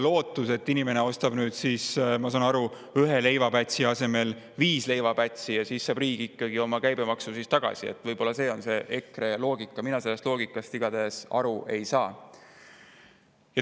Lootus, et inimene ostab nüüd siis, ma saan aru, ühe leivapätsi asemel viis leivapätsi ja riik saab ikkagi oma käibemaksu kätte – võib-olla see on EKRE loogika, mina sellest loogikast igatahes aru ei saa.